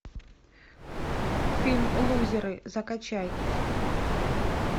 фильм лузеры закачай